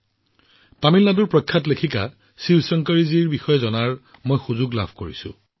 বিখ্যাত তামিল সাহিত্যিক ভগ্নী শিৱশংকৰী জীৰ বিষয়ে জানিবলৈ সুযোগ পালো